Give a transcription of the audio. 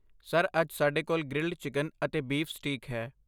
Sir, ਅੱਜ ਸਾਡੇ ਕੋਲ ਗ੍ਰਿਲਡ ਚਿਕਨ ਅਤੇ ਬੀਫ ਸਟੀਕ ਹੈ।